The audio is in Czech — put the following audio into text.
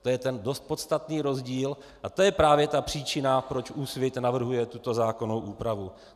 To je ten dost podstatný rozdíl, a to je právě ta příčina, proč Úsvit navrhuje tuto zákonnou úpravu.